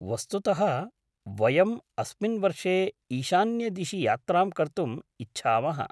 वस्तुतः, वयम् अस्मिन् वर्षे ईशान्यदिशि यात्रां कर्तुम् इच्छामः।